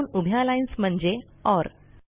दोन उभ्या लाईन्स म्हणजे ओर